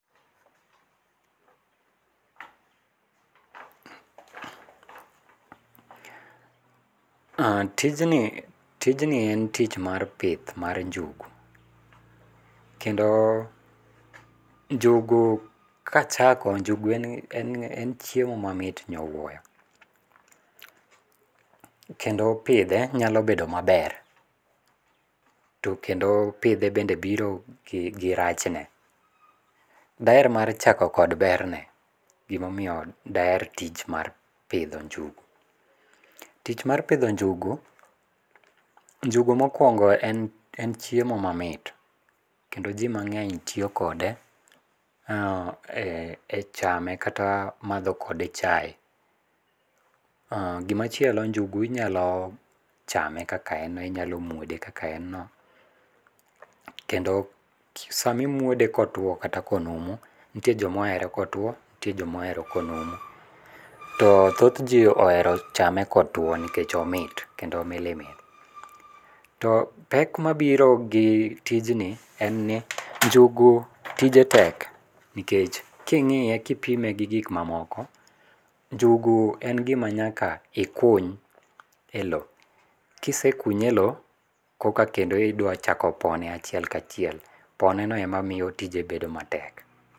Tijni en tich mar pith mar njugu. Kendo njugu kachako, njugu en chiemo mamit nyowuoyo, kendo pidhe nyalo bedo maber, to kendo pidhe bende biro gi rachne. Daher mar chako kod berne. Gimomiyo daher tich mar pidho njugu. Njugu mokwongo en chiemo mamit, kendo ji mang'eny tiyo kode e chame kata madho kode chaye. Gimachielo, njugu inyalo chame kaka en no, inyalo muode kaka en no, kendo sama imuode kotuwo kata konumu, nitie joma ohero kotuwo, nitie joma ohero konumu. To thoth ji ohero chame kotuwo nikech omit kendo omilimili. To pek mabiro gi tijni, en ni njugu tije tek nikech king'iye kipime gi gik mamoko, njugu en gima nyaka ikuny e lowo. Kisekunye e lowo, koka kendo idwa chako pone achiel kachiel. Poneno ema miyo tije bedo matek.